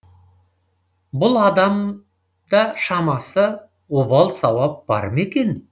бұл адам да шамасы обал сауап бар ма екен